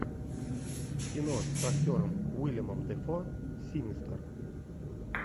кино с актером уиллемом дефо синистер